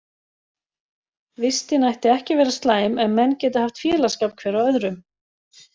Vistin ætti ekki að vera slæm ef menn geta haft félagsskap hver af öðrum.